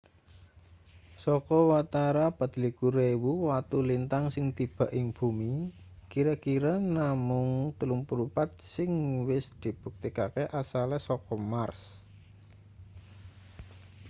saka watara 24.000 watu lintang sing tiba ing bumi kira-kira namung 34 sing wis dibuktekake asale saka mars